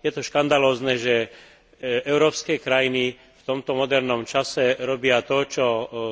Je to škandalózne, že európske krajiny v tomto modernom čase robia to, čo